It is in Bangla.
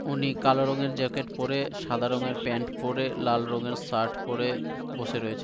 উনি কালো রঙের জ্যাকেট পরে সাদা রঙের প্যান্ট পরে লাল রঙের শার্ট পরে বসে রয়েছে।